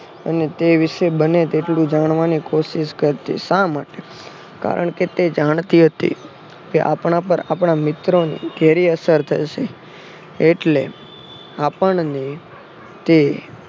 અને તે વિશે બને તેટલું જાણવાની કોશિષ કરતી. શા માટે કારણ કે તે જાણતી હતી કે આપણા પણ આપણા મિત્રોને ઘેરી અસર થશે એટલે આપણને ત